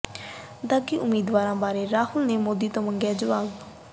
ਦਾਗ਼ੀ ਉਮੀਦਵਾਰਾਂ ਬਾਰੇ ਰਾਹੁਲ ਨੇ ਮੋਦੀ ਤੋਂ ਮੰਗਿਆ ਜਵਾਬ